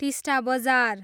टिस्टा बजार